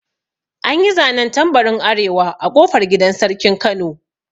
An yi zanen tambarin arewa a ƙofar gidan sarkin kano